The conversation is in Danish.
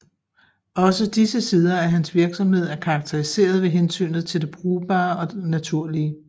Også disse sider af hans virksomhed er karakteriseret ved hensynet til det brugbare og naturlige